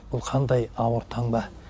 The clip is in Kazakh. бұл қандай ауыр таңба